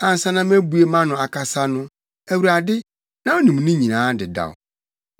Ansa na mebue mʼano akasa no Awurade, na wunim ne nyinaa dedaw.